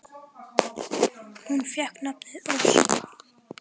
Hún fékk nafnið Ósk.